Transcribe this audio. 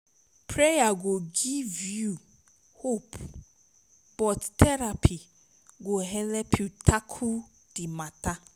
prayer go giv yu hope but therapy go help tackle di mata